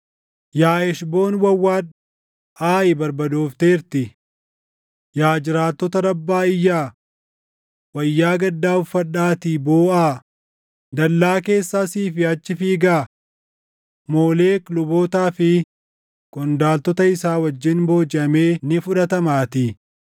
“Yaa Heshboon wawwaadhu, Aayi barbadoofteertii! Yaa jiraattota Rabbaa iyyaa! Wayyaa gaddaa uffadhaatii booʼaa; dallaa keessa asii fi achi fiigaa; Moolek lubootaa fi qondaaltota isaa wajjin boojiʼamee ni fudhatamaatii.